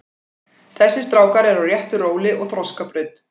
Þessir strákar eru á réttu róli og þroskabraut.